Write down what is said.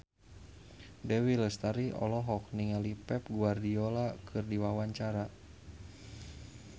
Dewi Lestari olohok ningali Pep Guardiola keur diwawancara